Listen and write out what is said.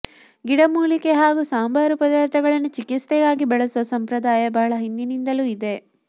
ಗಿಡಮೂಲಿಕೆ ಹಾಗೂ ಸಂಬಾರು ಪದಾರ್ಥಗಳನ್ನು ಚಿಕಿತ್ಸೆಗಾಗಿ ಬಳಸುವ ಸಂಪ್ರದಾಯ ಬಹಳ ಹಿಂದಿನಿಂದಲೂ ಇದೆ